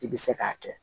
I bɛ se k'a kɛ